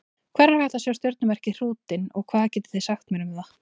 Hvar er hægt að sjá stjörnumerkið Hrútinn og hvað getið þið sagt mér um það?